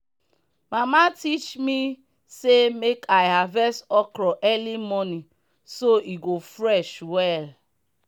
mama teach me say make i harvest okro early morning so e go fresh well.